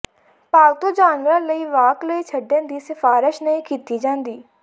ਪਾਲਤੂ ਜਾਨਵਰਾਂ ਲਈ ਵਾਕ ਲਈ ਛੱਡਣ ਦੀ ਸਿਫਾਰਸ਼ ਨਹੀਂ ਕੀਤੀ ਜਾਂਦੀ